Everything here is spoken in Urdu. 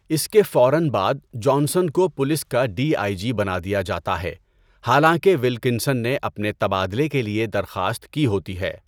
اس کے فوراً بعد جانسن کو پولیس کا ڈی آئی جی بنا دیا جاتا ہے حالانکہ ولکنسن نے اپنے تبادلے کے لئے درخواست کی ہوتی ہے۔